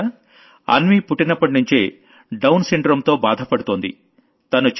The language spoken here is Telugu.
మిత్రలారా అన్వీ పుట్టినప్పటినుంచే డౌన్ సిండ్రోమ్ తో బాధపడుతోంది